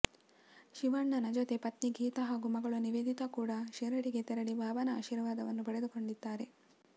ಶಿವಣ್ಣನ ಜೊತೆಗೆ ಪತ್ನಿ ಗೀತಾ ಹಾಗೂ ಮಗಳು ನಿವೇದಿತಾ ಕೂಡ ಶಿರಡಿಗೆ ತೆರಳಿ ಬಾಬನ ಆಶೀರ್ವಾದವನ್ನು ಪಡೆದುಕೊಂಡಿದ್ದಾರೆ